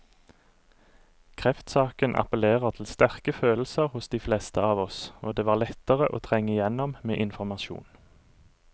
Kreftsaken appellerer til sterke følelser hos de fleste av oss, og det var lettere å trenge igjennom med informasjon.